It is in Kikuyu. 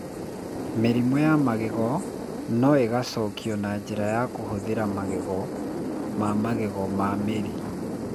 Mĩrimũ ya magego no ĩcokio na njĩra ya kũhũthĩra magego ma magego na mĩri.